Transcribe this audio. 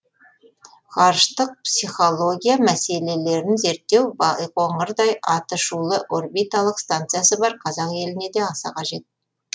ғарыштық психология мәселелерін зерттеу байқоңырдай атышулы орбиталық станциясы бар қазақ еліне де аса қажет